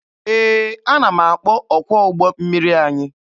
Ee, ana m akpọ ọkwọ ụgbọ mmiri anyị.